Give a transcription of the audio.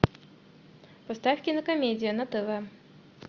поставь кинокомедия на тв